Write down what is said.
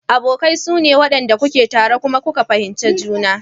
Abokai sune wanɗan da suke tare kuma kuka fahimci juna.